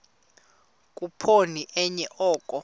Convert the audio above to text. khuphoni enye oko